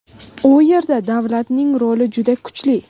U yerda davlatning roli juda kuchli.